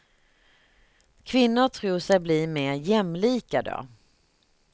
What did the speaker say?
Kvinnor tror sig blir mer jämlika då.